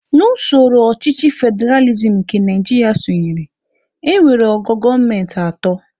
N'usoro ọchịchị federalizim nke Naijiria sonyere, e nwere ogo gọọmenti atọ